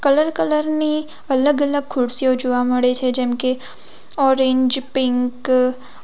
Colour colour ની અલગ-અલગ ખુરશીઓ જોવા મળે છે જેમ કે ઓરેન્જ પીંક .